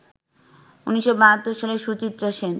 ১৯৭২ সালে সুচিত্রা সেন